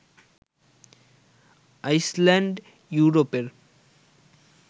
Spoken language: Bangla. আইসল্যান্ড ইউরোপের